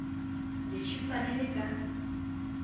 le tjhesa le le ka